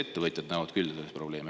Ettevõtjad näevad küll selles probleemi.